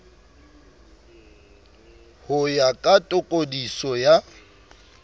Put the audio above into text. ho ya ka tokodiso ya